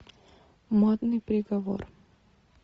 модный приговор